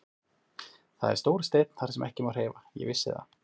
Það er stór steinn þar sem ekki má hreyfa, ég vissi það.